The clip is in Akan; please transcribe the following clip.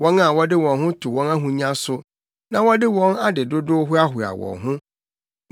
wɔn a wɔde wɔn ho to wɔn ahonya so na wɔde wɔn ade dodow hoahoa wɔn ho?